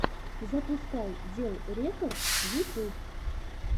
запускай дел рекордс ютюб